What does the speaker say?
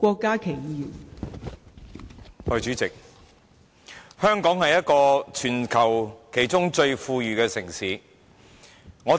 代理主席，香港是全球其中一個最富裕的城市。